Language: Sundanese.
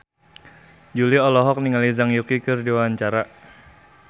Jui olohok ningali Zhang Yuqi keur diwawancara